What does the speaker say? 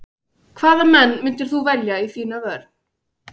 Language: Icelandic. Hvaða menn myndir þú velja í þína vörn?